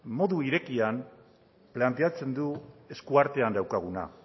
modu irekian planteatzen du eskuartean daukaguna